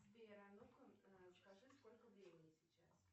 сбер а ну ка скажи сколько времени сейчас